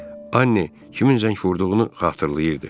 Anni kimin zəng vurduğunu xatırlayırdı.